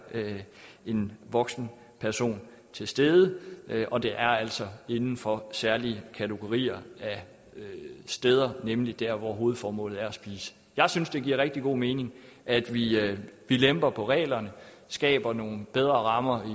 en voksen person til stede og det er altså inden for særlige kategorier af steder nemlig der hvor hovedformålet er at spise jeg synes det giver rigtig god mening at vi at vi lemper på reglerne skaber nogle bedre rammer